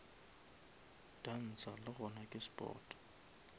dansa le gona ke sport